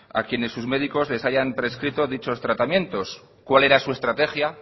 a quienes sus médicos les hayan prescrito dichos tratamientos cuál era su estrategia